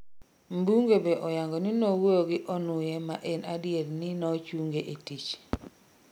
Mbunge be oyango ni nowuoyo gi Onuye ma en adier ni nochunge e tich